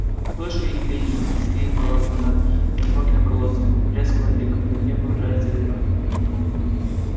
слышу их пение и скрип ворота над глубоким колодцем и плеск воды когда в неё погружается ведро